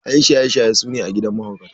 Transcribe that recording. ƴan shaye shaye su ne a gidan mahaukata.